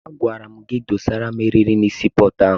Agwara gị dọsara m erịrị na sii pọọtụ ahụ!